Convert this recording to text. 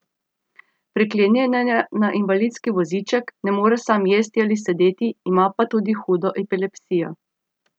Priklenjen je na invalidski voziček, ne more sam jesti ali sedeti, ima pa tudi hudo epilepsijo.